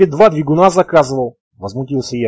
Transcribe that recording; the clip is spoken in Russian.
и два бегуна заказывал возмутился я